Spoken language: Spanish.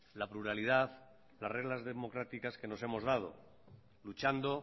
la pluralidad las reglas democráticas que nos hemos dado luchando